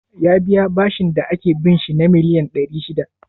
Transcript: Ya biya bashin da ake bin shi na miliyan ɗari shida?